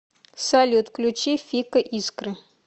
салют включи фика искры